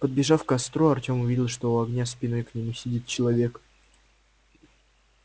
подбежав к костру артём увидел что у огня спиной к нему сидит человек